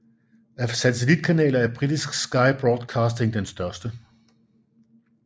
Af satellitkanaler er Britisk Sky Broadcasting den største